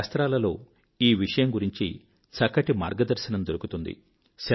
మన శాస్త్రాలలో ఈ విషయం గురించి చక్కటి మార్గదర్శనం దొరుకుతుంది